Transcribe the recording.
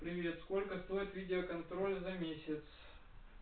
привет сколько стоит видеоконтроль за месяц